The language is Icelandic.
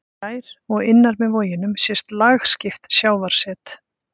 Fjær og innar með voginum sést lagskipt sjávarset.